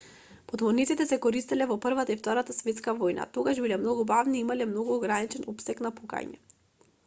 подморниците се користеле во првата и втората светска војна тогаш биле многу бавни и имале многу ограничен опсег на пукање